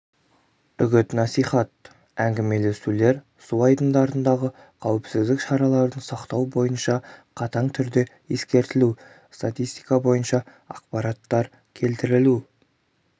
үгіт-насихат әңгімелесулер су айдындарындағы қауіпсіздік шараларын сақтау бойынша қатаң түрде ескертілу статистика бойынша ақпараттар келтірілу